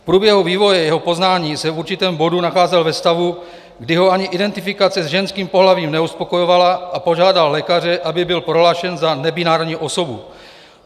V průběhu vývoje jeho poznání se v určitém bodu nacházel ve stavu, kdy ho ani identifikace s ženským pohlavím neuspokojovala, a požádal lékaře, aby byl prohlášen za nebinární osobu.